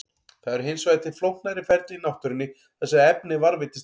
Það eru hins vegar til flóknari ferli í náttúrunni þar sem efnið varðveitist ekki.